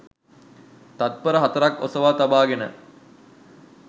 තත්පර හතරක් ඔසවා තබාගෙන